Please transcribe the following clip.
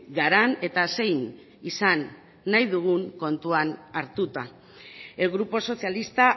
garan eta zein izan nahi dugun kontutan hartuta el grupo socialista